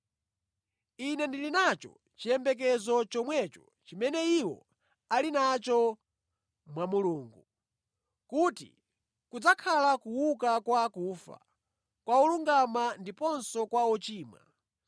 Ine ndili nacho chiyembekezo chomwecho chimene iwo ali nacho mwa Mulungu, kuti kudzakhala kuuka kwa akufa kwa olungama ndiponso kwa ochimwa.